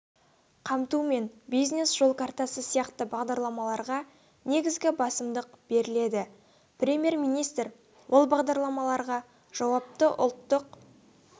қамту мен бизнес жол картасы сияқты бағдарламаларға негізгі басымдық беріледі премьер-министр ол бағдарламаларға жауапты ұлттық